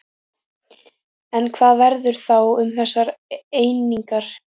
En hvað verður þá um þessar einingar?